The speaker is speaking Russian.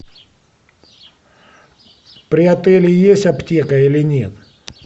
при отеле есть аптека или нет